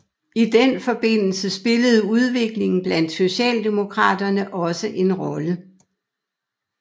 I den forbindelse spillede udviklingen blandt socialdemokraterne også en rolle